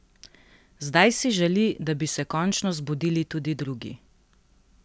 Zdaj si želi, da bi se končno zbudili tudi drugi!